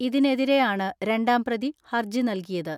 ഇതിനെതിരെയാണ് രണ്ടാം പ്രതി ഹർജി നൽകിയത്.